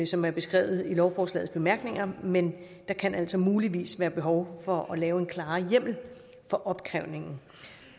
som er beskrevet i lovforslagets bemærkninger men der kan altså muligvis være behov for at lave en klarere hjemmel for opkrævningen